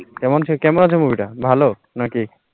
কেমন ছে কেমন আছে, movie টা ভালো না কি?